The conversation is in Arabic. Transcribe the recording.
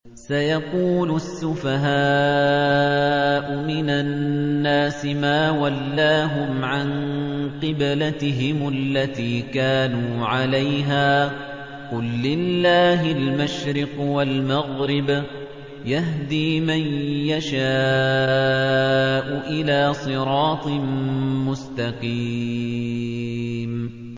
۞ سَيَقُولُ السُّفَهَاءُ مِنَ النَّاسِ مَا وَلَّاهُمْ عَن قِبْلَتِهِمُ الَّتِي كَانُوا عَلَيْهَا ۚ قُل لِّلَّهِ الْمَشْرِقُ وَالْمَغْرِبُ ۚ يَهْدِي مَن يَشَاءُ إِلَىٰ صِرَاطٍ مُّسْتَقِيمٍ